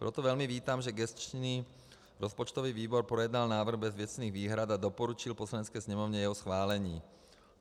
Proto velmi vítám, že gesční rozpočtový výbor projednal návrh bez věcných výhrad a doporučil Poslanecké sněmovně jeho schválení.